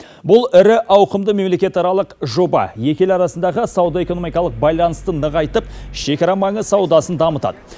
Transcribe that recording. бұл ірі ауқымды мемлекетаралық жоба екі ел арасындағы сауда экономикалық байланысты нығайтып шекара маңы саудасын дамытады